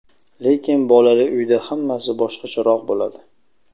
Lekin bolali uyda hammasi boshqacharoq bo‘ladi.